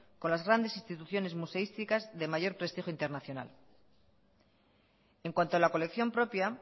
con las grandes instituciones museísticas de mayor prestigio internacional en cuanto a la colección propia